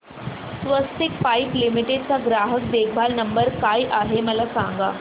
स्वस्तिक pipe limited चा ग्राहक देखभाल नंबर काय आहे मला सांगा